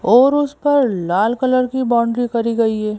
और उस पर लाल कलर की बाउंड्री करी गई है।